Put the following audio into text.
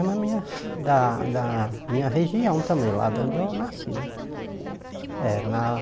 A minha mulher da da minha região também, lá de onde eu nasci né. Sei É na